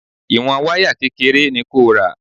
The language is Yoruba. Ìwọ̀n wáyà kékeré ni kò ra.